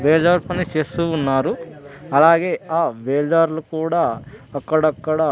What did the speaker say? బేల్దార్ పని చేస్తూ ఉన్నారు అలాగే ఆ బేల్దారులు కూడా అక్కడక్కడ --